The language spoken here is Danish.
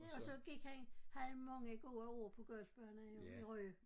Ja og så gik han havde mange gode år på golfbaner i Rø